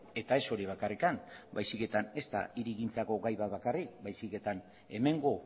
eta ez hori bakarrik baizik eta ezta hirigintzako gai bat bakarrik baizik eta hemengo